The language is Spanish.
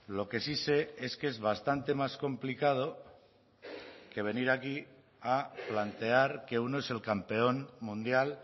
lo que sí sé es que es bastante más complicado que venir aquí a plantear que uno es el campeón mundial